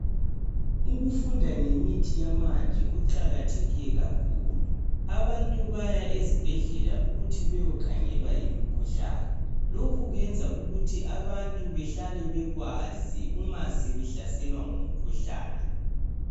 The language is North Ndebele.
Ukufunda ngemithi yamanje kuqakatheke kakhulu. Abantu bahamba ezibhedlela ukuyokhangelwa imikhuhlane, lokhu kwenza abantu behlale bekwazi uma sebehlaselwa ngumkhuhlane.